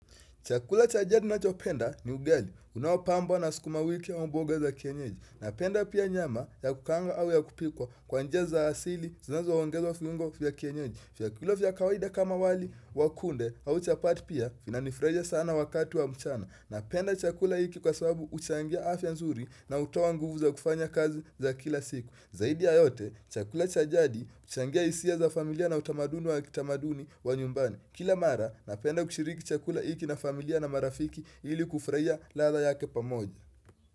Chakula cha jadi ninachopenda ni ugali, unaopambwa na sukuma wiki ama mboga za kienyeji. Napenda pia nyama ya kukaanga au ya kupikwa kwa njia za asili, zinazoongezwa viungo vya kienyeji. Vyakula vya kawaida kama wali, wa kunde, au chapati pia, vinanifurahisha sana wakati wa mchana. Napenda chakula hiki kwa sababu huchangia afya nzuri na hutoa nguvu za kufanya kazi za kila siku. Zaidi ya yote, chakula cha jadi huchangia hisia za familia na utamaduni wa kitamaduni wa nyumbani. Kila mara, napenda kushiriki chakula hiki na familia na marafiki ili kufurahia ladha yake pamoja.